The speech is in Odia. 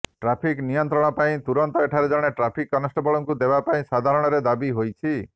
ଟ୍ରାଫିକ୍ ନିୟନ୍ତ୍ରଣ ପାଇଁ ତୁରନ୍ତ ଏଠାରେ ଜଣେ ଟ୍ରାଫିକ୍ କନେଷ୍ଟବଳଙ୍କୁ ଦେବା ପାଇଁ ସାଧାରଣରେ ଦାବି ହୋଇଛି